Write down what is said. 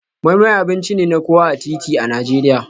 Moi Moi abinci ne na kowa a titi a Najeriya.